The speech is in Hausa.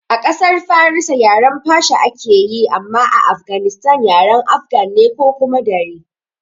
A ƙasar farisa yaren Persia ake yi amma a Afganistan yaren afgan ne ko kuma Dari